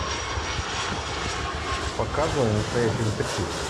показывай настоящий детектив